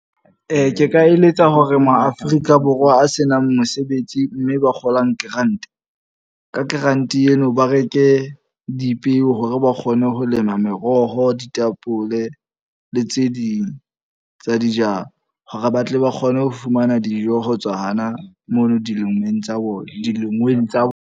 Ke ka eletsa hore mo Afrika Borwa a senang mosebetsi mme ba kgolang grant. Ka grant eno ba reke dipeo hore ba kgone ho lema meroho, ditapole le tse ding tsa dijalo. Hore ba tle ba kgone ho fumana dijo ho tswa hana mono dilengweng tsa bona, di lengweng tsa bona.